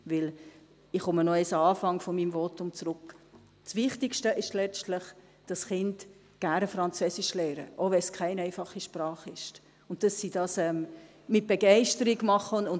Denn – ich kehre noch einmal an den Anfang meines Votums zurück – das Wichtigste ist letztlich, dass Kinder gerne Französisch lernen, auch wenn es keine einfache Sprache ist, und dass sie das mit Begeisterung tun.